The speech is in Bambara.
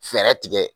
Fɛɛrɛ tigɛ